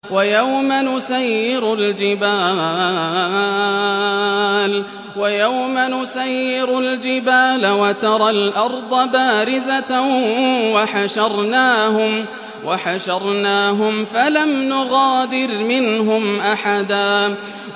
وَيَوْمَ نُسَيِّرُ الْجِبَالَ وَتَرَى الْأَرْضَ بَارِزَةً وَحَشَرْنَاهُمْ فَلَمْ نُغَادِرْ مِنْهُمْ أَحَدًا